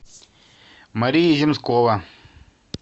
мария ямскова